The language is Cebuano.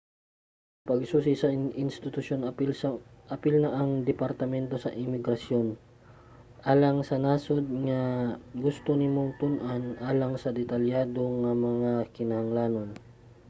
pagsusi sa institusyon apil na ang departamento sa imigrasyon alang sa nasud nga gusto nimong tun-an alang sa detalyado nga mga kinahanglanon